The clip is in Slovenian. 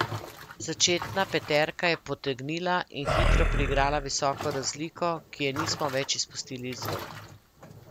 Začetna peterka je potegnila in hitro priigrala visoko razliko, ki je nismo več izpustili iz rok.